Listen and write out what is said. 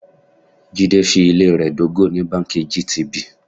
Jídé fi ilé rẹ dógò ní báńkì GTB.